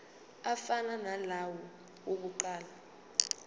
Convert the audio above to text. afana nalawo awokuqala